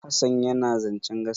Hassan yana zancen gaskiya.